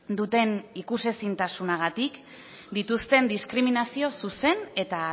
duten ikusezintasunagatik dituzten diskriminazio zuzen eta